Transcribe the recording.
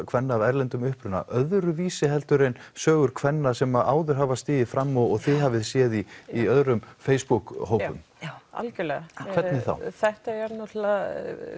kvenna af erlendum uppruna öðruvísi en sögur kvenna sem áður hafa stigið fram og þið hafið séð í í öðrum Facebook hópum já algjörlega hvernig þá þetta er náttúrulega